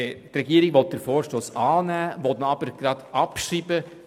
Sie will den Vorstoss annehmen und auch gleich abschreiben.